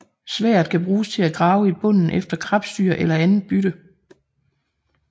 Sværdet kan bruges til at grave i bunden efter krebsdyr eller andet bytte